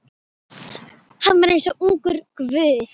Hann var eins og ungur guð.